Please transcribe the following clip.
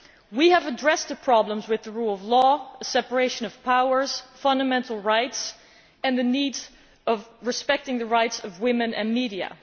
We have addressed the problems with the rule of law, separation of powers, fundamental rights and the need to respect the rights of women and the media.